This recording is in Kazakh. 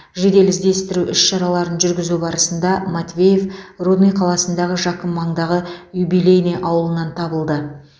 жедел іздестіру іс шараларын жүргізу барысында матвеев рудный қаласындағы жақын маңдағы юбилейный ауылынан табылды